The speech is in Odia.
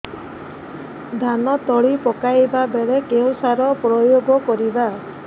ଧାନ ତଳି ପକାଇବା ବେଳେ କେଉଁ ସାର ପ୍ରୟୋଗ କରିବା